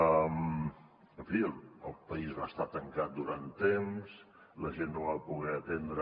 en fi el país va estar tancat durant temps la gent no va poder atendre